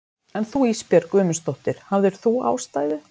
En þú Ísbjörg Guðmundsdóttir, hafðir þú ástæðu?